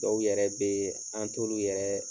Dɔw yɛrɛ be ye, an' t'olu yɛrɛ